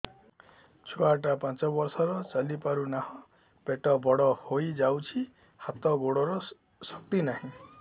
ଛୁଆଟା ପାଞ୍ଚ ବର୍ଷର ଚାଲି ପାରୁନାହଁ ପେଟ ବଡ ହୋଇ ଯାଉଛି ହାତ ଗୋଡ଼ର ଶକ୍ତି ନାହିଁ